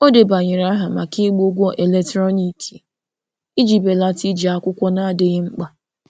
Ọ debanyere aha maka ịgba ụgwọ eletrọniki iji belata iji akwụkwọ na-adịghị mkpa.